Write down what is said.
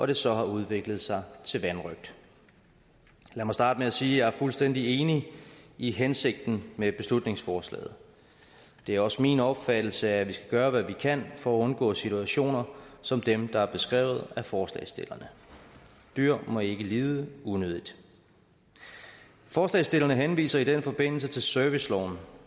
det så har udviklet sig til vanrøgt lad mig starte med at sige er fuldstændig enig i hensigten med beslutningsforslaget det er også min opfattelse at vi skal gøre hvad vi kan for at undgå situationer som dem der er beskrevet af forslagsstillerne dyr må ikke lide unødigt forslagsstillerne henviser i den forbindelse til serviceloven